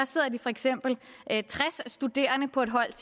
sidder de for eksempel tres studerende på et hold